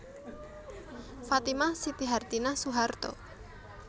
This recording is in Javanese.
Fatimah Siti Hartinah Soeharto